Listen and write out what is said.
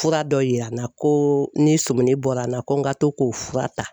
Fura dɔ yira n na ko ni sɔmina bɔra n na ko n ka to k'o fura ta.